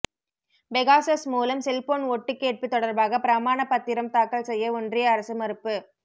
Pegasus மூலம் cellphone ஒட்டுக்கேட்பு தொடர்பாக பிரமாணப் பத்திரம் தாக்கல் செய்ய ஒன்றிய அரசு மறுப்பு